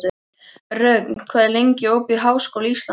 Rögn, hvað er lengi opið í Háskóla Íslands?